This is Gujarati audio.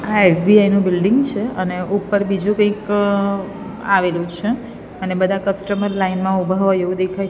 આ એસ_બી_આઈ નુ બિલ્ડિંગ છે અને ઉપર બીજુ કઈક આવેલુ છે અને બધા કસ્ટમર લાઇન મા ઉભા હોઇ એવુ દેખાઈ--